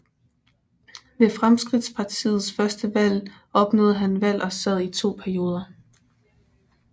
Ved Fremskridtspartiets første valg opnåede han valg og sad i to perioder